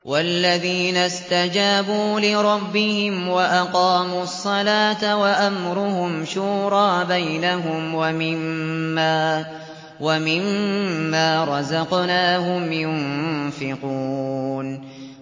وَالَّذِينَ اسْتَجَابُوا لِرَبِّهِمْ وَأَقَامُوا الصَّلَاةَ وَأَمْرُهُمْ شُورَىٰ بَيْنَهُمْ وَمِمَّا رَزَقْنَاهُمْ يُنفِقُونَ